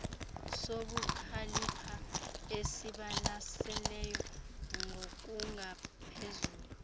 sobukhalipha esibalaseleyo ngokungaphezulu